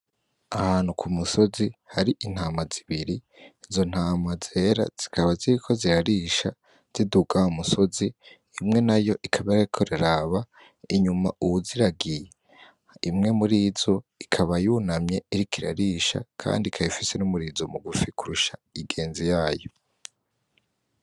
Ahantu ku musozi hari intama zibiri, izo ntama zera zikaba ziriko zirarisha ziduga wa umusozi imwe nayo ikaba iriko iraraba inyuma uwuziragiye, imwe murizo ikaba yunamye iriko irarisha kandi ikaba ifise n'umurizo mugufi kurusha ingenzi yayo.